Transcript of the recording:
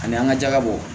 Ani an ka jaba bɔ